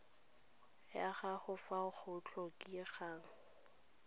ya gago fa go tlhokegang